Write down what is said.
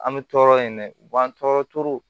An bɛ tɔɔrɔ yen dɛ bamanan tɔɔrɔ tora